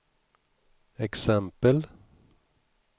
exempel